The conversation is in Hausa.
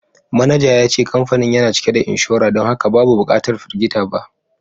Manaja ya ce kamfanin yana cike da inshora don haka babu bukatar firgita ba